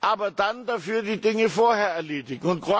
aber dann dafür die Dinge vorher erledigt.